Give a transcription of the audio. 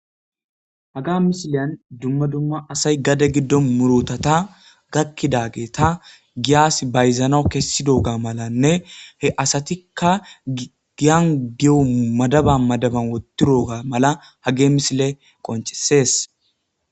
Haga misilyan dumma dumma asay gade giddo murotata gakkidageeta giyas bayzanau kessidooga malanne he asatikka giangiyo madaba madaban wottirooga mala hage misile qoncesees.